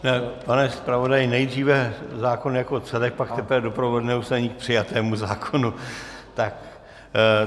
Pane zpravodaji, nejdříve zákon jako celek, pak teprve doprovodné usnesení k přijatému zákonu.